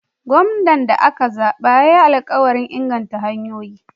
Gwamnan da aka zaɓa ya yi alkawarin ingantattun hanyoyi.